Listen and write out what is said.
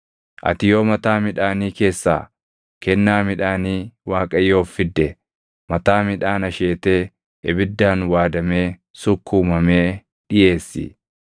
“ ‘Ati yoo mataa midhaanii keessaa kennaa midhaanii Waaqayyoof fidde, mataa midhaan asheetee ibiddaan waadamee sukkuumamee dhiʼeessi.